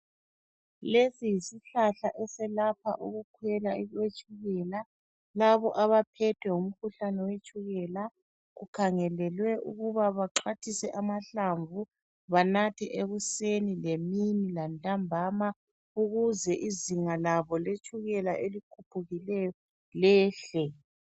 Lesi yisihlahla eselapha ukukhwela kwe tshukela .Labo abaphethwe ngumkhuhlane wetshukela bakhangelelwe ukuba baxhwathise amahlamvu banathe ekuseni lemini lantambama ukuze izinga labo letshukela elikhuphukileyo lehle.